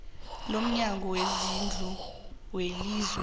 lomnyango wezezindlu welizwe